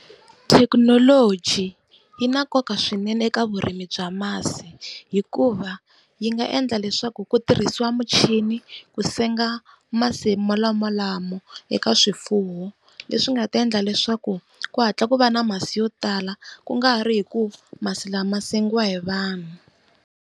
Thekinoloji yi na nkoka swinene eka vurimi bya masi, hikuva yi nga endla leswaku ku tirhisiwa muchini ku senga masi molamolamo eka swifuwo. Leswi nga ta endla leswaku ku hatla ku va na masi yo tala ku nga ha ri hi ku masi lama ma sengiwa hi vanhu.